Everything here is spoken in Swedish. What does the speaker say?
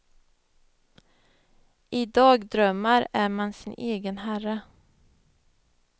I dagdrömmar är man sin egen herre.